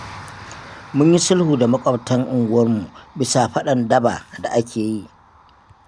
Mun yi sulhu da maƙwabtan unguwarmu bisa faɗan daba da ake yi.